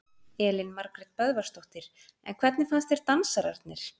Elín Margrét Böðvarsdóttir: En hvernig fannst þér dansararnir?